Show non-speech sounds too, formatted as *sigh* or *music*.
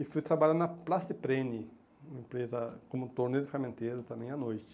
E fui trabalhar na Plastiprene, uma empresa como torneio de, *unintelligible* também à noite.